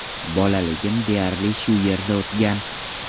Bolaligim deyarli shu yerda o‘tgan.